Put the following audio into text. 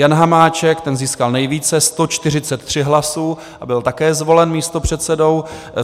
Jan Hamáček, ten získal nejvíce, 143 hlasů, a byl také zvolen místopředsedou.